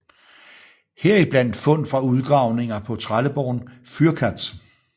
Heriblandt fund fra udgravninger på trelleborgen Fyrkat